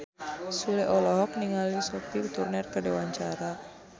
Sule olohok ningali Sophie Turner keur diwawancara